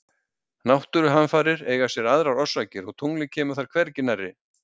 Náttúruhamfarir eiga sér aðrar orsakir og tunglið kemur þar hvergi nærri.